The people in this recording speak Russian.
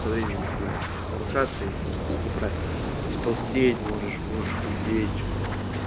со временем будет нарушаться или неправильно то есть толстеть можешь можешь худеть